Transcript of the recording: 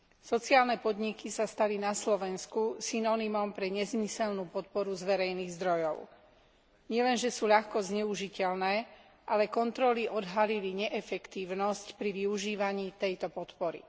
Sociálne podniky sa stali na Slovensku synonymom pre nezmyselnú podporu z verejných zdrojov. Nielenže sú ľahko zneužiteľné, ale kontroly odhalili neefektívnosť pri využívaní tejto podpory.